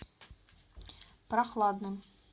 прохладным